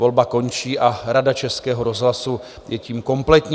Volba končí a Rada Českého rozhlasu je tím kompletní.